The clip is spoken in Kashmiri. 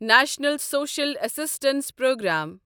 national social assistance programme